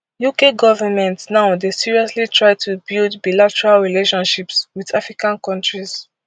uk government now dey seriously try to build bilateral relationships wit african kontris